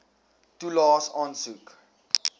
toelaes aansoek